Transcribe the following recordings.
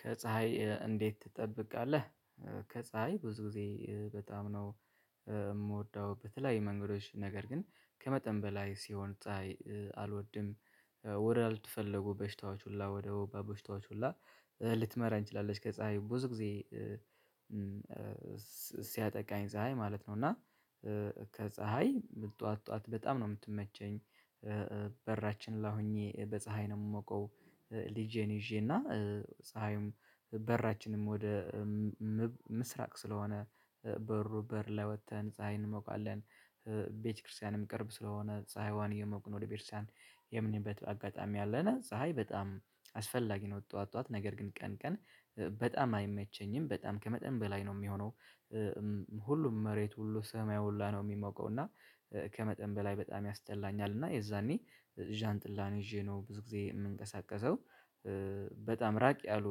ከፀሀይ እንዴት ትጠብቃለህ? ከፀሀይ ብዙ ጊዜ በጣም ነው የምወደው በተለያየ መንገዶች ነገር ግን ከመጠን በላይ ሲሆን ፀሀይ አልወድም። ወደ አልተፈለጉ በሽታዎች ሁላ ወደ ወባ በሽታዎች ሁላ ልትመራ ችላለች። ከፀሀይ ብዙ ጊዜ ሲያጠቃኝ ፀሀይ ማለት ነው። እና ከፀሀይ ጠዋት ጠዋት በጣም ነው የምትመቸኝ። በራችን ላይ ኹኜ በፀሀይ ነው የምሞቀው። ልጄን ይዤና ፀሀዩም በራችንም ወደ ምስራቅ ስለሆነ በሩ በር ላይ ወጥተን ፀሀይ እንሞቃለን። እ ቤተክርስቲያንም ቅርብ ስለሆነ ፀሀይዋን የሞቅን ወደ ቤተክርስቲያን የምንሄድበት አጋጣሚ አለን ፀሀይ በጣም አስፈላጊ ነው። ጠዋት ጠዋት ነገር ግን ቀን ቀን በጣም አይመቸኝም በጣም ከመጠን በላይ ነው የሚሆነው እ ሁሉም መሬት ሁሉ ሰማይ ሁላ ነው የሚሞቀው እና ከመጠን በላይ በጣም ያስጠላኛል። እና የዛኔ ዣንጥላን ይዤ ነው ብዙ ጊዜ የምንቀሳቀሰው። በጣም ራቅ ያሉ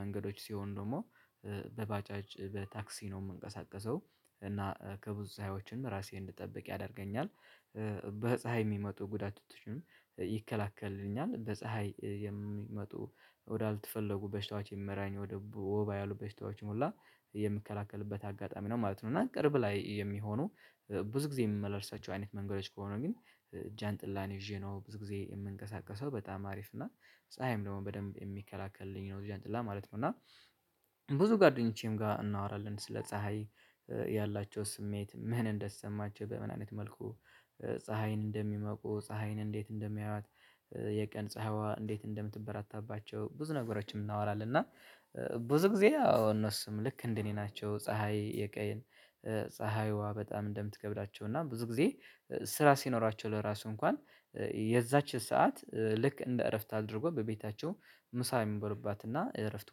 መንገዶች ሲሆን ደግሞ በባጃጅ በታክሲ ነው የምንቀሳቀሰው እና ከብዙ ጸሀዮችም ራሴን እንድጠብቅ ያደርገኛል። በፀሀይ የሚመጡ ጉዳቶችን ይከላከሉኛል በፀሀይ የሚመጡ ወዳልተፈለጉ በሽታዎች የሚመራኝ ወደ ወባ ያሉ በሽታዎችን ኹላ የምከላከልበት አጋጣሚ ነው ማለት ነው። እና ቅርብ ላይ የሚሆኑ ብዙ ጊዜ የምመላለሳቸው አይነት መንገዶች ከሆነ ግን ጃንጥላን ይዤ ነው ብዙ ጊዜ የምንቀሳቀሰው በጣም አሪፍ እና ፀሀይም ደግሞ በደንብ የሚከላከልኝ ነው ጃነሰጥላ ማለት ነው። እና ብዙ ጓደኞቼም ጋር እናወራለን ስለ ፀሀይ ያላቸው ስሜት ምን እንደተሰማቸው በምን አይነት መልኩ ፀሀይን እንደሚሞቁ ፀሀይን እንዴት እንደሚያያት? የቀን ፀሀይዋ እንዴት እንደምትበራታባቸው ብዙ ነገሮችም እናወራለን እና ብዙ ጊዜ አዎ እነሱም ልክ እንደ እኔ ናቸው። ፀሀይ የቀን ፀሀይዋ በጣም እንደምትከብዳቸው እና ብዙ ጊዜ ስራ ሲኖራቸው ለራሱ እንኳን እ የዛች ሰዓት ልክ እንደ እረፍት አድርጎ በቤታቸው ምሳ የሚበሉባትና እረፍት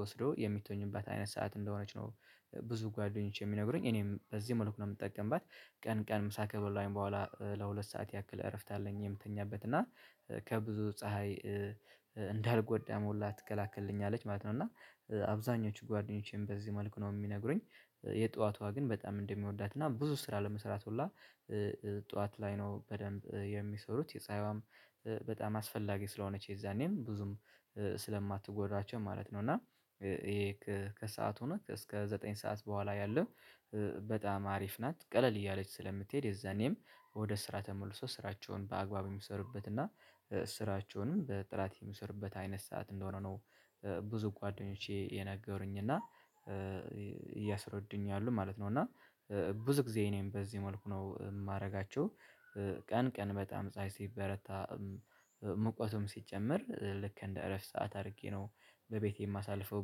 ወስደው የሚተኙባት አይነት ሰዓት እንደሆነች ነው ብዙ ጓደኞቼ የሚነግሩኝ እኔም በዚህ መልኩ ነው የምጠቀምባት። ቀን ቀን ምሳ ከበላኹኝ በኋላ ለሁለት ሰዓት ያክል እረፍት አለኝ የምተኛበት እና ከብዙ ፀሀይ እንዳልጎዳም ሁላ ትከላከልልኛለች ማለት ነው። እና አብዛኞቹ ጓደኞቼም በዚህ መልኩ ነው የሚነግሩኝ። የጧቷ ግን በጣም እንደምወዳት እና ብዙ ስራ ለመስራት ሁላ ጠዋት ላይ ነው በደንብ የሚሰሩት የጸሀይዋም በጣም አስፈላጊ ስለሆነች የዛኔም ብዙም ስለማትጎዳቸው ማለት ነው። እና ይሄ ከሰአቱ እስከ ዘጠኝ ሰዓት በኋላ ያለው በጣም አሪፍ ናት ቀለል እያለች ስለምትሄድ የዛኔም ወደ ስራ ተመልሶ ስራቸውን በአግባቡ የሚሰሩበት እና ስራቸውንም በጥራት የሚሰሩበት አይነት ሰዓት እንደሆነ ነው። እ ብዙ ጓደኞቼ የነገሩኝ እና እያስረዱኝ ያሉ ማለት ነው። እና ብዙ ጊዜ እኔም በዚህ መልኩ ነው የማደርጋቸው ቀን ቀን በጣም ሳይ ሲበረታ ሙቀቱም ሲጨምር ልክ እንደ እረፍት ሰዓት አድርጌ ነው በቤቴ የማሳልፈው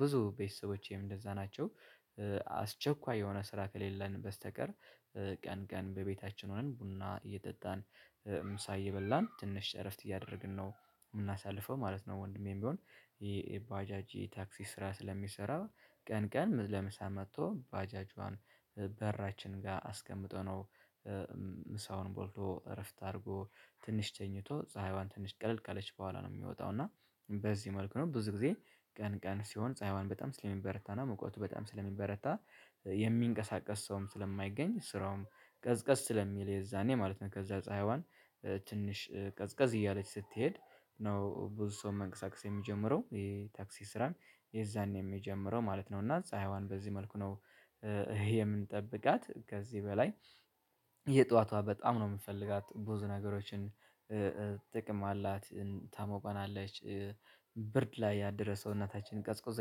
ብዙ ቤተሰቦቼም እንደዛ ናቸው። አስቸኳይ የሆነ ስራ ከሌለን በስተቀር ቀን ቀን በቤታችን ሆነን ቡና እየጠጣን ምሳ እየበላን ትንሽ እረፍት እያደረግን ነው የምናሳልፈው ማለት ነው። ወንድሜም ቢሆን ይሄ ባጃጅ ታክሲ ስራ ስለሚሰራ ቀን ቀን ለምሳ መጥቶ ባጃጇን በራችን ጋር አስቀምጦ ነው ምሳውን በልቶ እረፍት አድርጎ ትንሽ ተኝቶ ፀሀይዋን ትንሽ ቀለል ካለች በኋላ ነው የሚወጣው እና በዚህ መልኩ ነው ብዙ ጊዜ ቀን ቀን ሲሆን ፀሀይዋን በጣም ስለሚበረታና ሙቀቱ በጣም ስለሚበረታ የሚንቀሳቀስ ሰውም ስለማይገኝ ስራውም ቀዝቀዝ ስለሚል የዛኔ ማለት ነው ከዛ ፀሀይዋን ትንሽ ቀዝቀዝ እያለች ስትሄድ ነው ብዙ ሰው መንቀሳቀስ የሚጀምረው ይኼ የታክሲ ስራን የዛኔም የጀመረው ማለት ነው። እና ፀሀይዋን በዚህ መልኩ ነው እ የምንጠብቃት ከዚህ በላይ የጠዋቷ በጣም ነው የምንፈልጋት ብዙ ነገሮችን ጥቅም አላት። ታሞቀናለች ብርድ ላይ ያደረውን ሰውነታችንን ቀዝቁዞ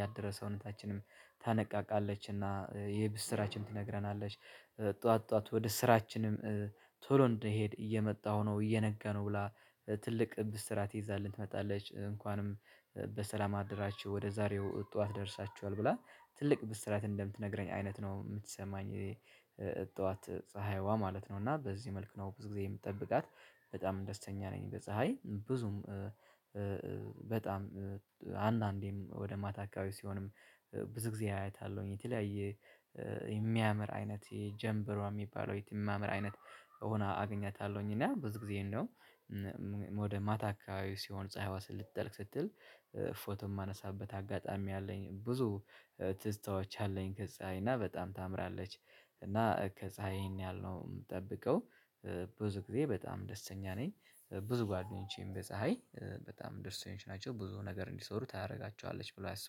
ያደረውን ሰውነታችንም ታነቃቃለች እና የብስራችን ትነግረናለች። ጠዋት ጠዋት ወደ ስራችንም ቶሎ እንድንሄድ እየመጣሁ ነው እየነጋሁ ነው ብላ ትልቅ ብስራት ይዛልን ትመጣለች እንኳንም በሰላም አደራችሁ ወደ ዛሬው ጠዋት ደርሳችኋል ብላ ትልቅ ብስራት እንደምትነግረኝ አይነት ነው የምትሰማኝ። ጠዋት ፀሀይዋ ማለት ነው እና በዚህ መልኩ ነው ብዙ ጊዜ የምንጠብቃት በጣም ደስተኛ ነኝ። በፀሀይ ብዙም በጣም አንዳንዴም ወደ ማታ አካባቢ ሲሆንም ብዙ ጊዜ አያታለሁኝ የተለያየ የሚያምር አይነት የጀንበሯ የሚባለው የት የሚያምር አይነት ሆና አገኛታለሁኝ እና ብዙ ጊዜ እንደው ወደ ማታ አከባቢ ሲሆን ፀሀይዋ ልትጠልቅ ስትል ፎቶ የማነሳበት አጋጣሚ አለኝ። ብዙ ትዝታዎች አለኝ ከፀሀይ እና በጣም ታምራለች። እና ከፀሀይ ይህን ያሀል የምጠብቀው ብዙ ጊዜ በጣም ደስተኛ ነኝ። ብዙ ጓደኞቼም በፀሀይ በጣም ደስተኞች ናቸው ብዙ ነገር እንዲሰሩ ታደርጋቸዋለች ብሎ ያስቡሉ